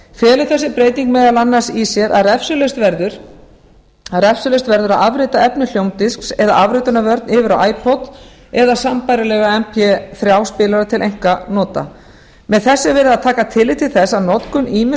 felur þessi breyting meðal annars í sér að refsilaust verður að afrita efni hljómdisks eða afritunarvörn yfir á eða sambærilegra mp þrjú spilara til einkanota með þessu er verið að taka tillit til þess að notkun ýmiss